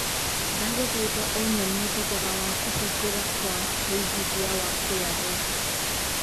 ndagũthaĩtha ũnyonîe thogora wa kũhingũra Kwa wĩigĩthĩa wa kra